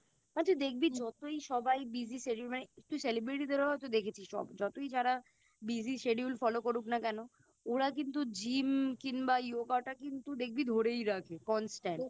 মানে যতই সবাই Busy schedule মানে তুই Celebrity দেরও হয়তো দেখেছিস সবাই যতই যারা Busy schedule follow করুক না কেন ওরা কিন্তু Gym কিংবা Yoga টা কিন্তু দেখবি ধরেই রাখে Constant